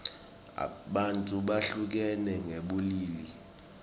bantfu behlukene ngebulili